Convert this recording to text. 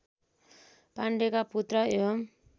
पाण्डेका पुत्र एवम्